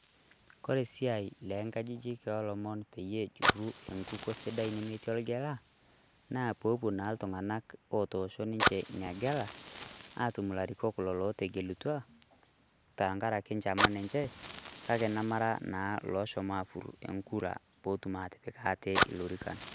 Kore esiai le nkajijik olomon peyie ejurru enkukuo sidai nemetii orgela, naa popuo na iltung'anak otoosho ninche inagela, atum ilarikok lo letegelutua, tankaraki nchaman enche, kake namara naa loshomo apur onkura potum atipik ate ilorikan.